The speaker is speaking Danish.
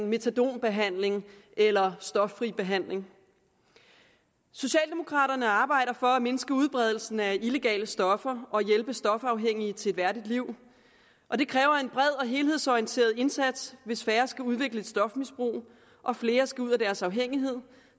metadonbehandling eller stoffri behandling socialdemokraterne arbejder for at mindske udbredelsen af illegale stoffer og hjælpe stofafhængige til et værdigt liv og det kræver en bred og helhedsorienteret indsats hvis færre skal udvikle et stofmisbrug og flere skal ud af deres afhængighed